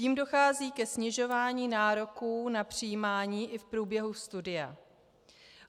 Tím dochází ke snižování nároků na přijímání i v průběhu studia.